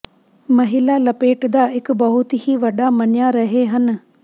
ਮਹਿਲਾ ਲਪੇਟਦਾ ਇੱਕ ਬਹੁਤ ਹੀ ਵੱਡਾ ਮੰਨਿਆ ਰਹੇ ਹਨ